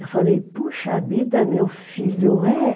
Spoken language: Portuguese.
Eu falei, poxa vida, meu filho, é?